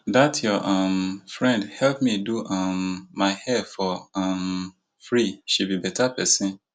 dat your um friend help me do um my hair for um free she be beta person